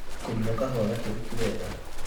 kũnyua kahua gakĩru ti wega